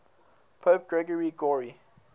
pope gregory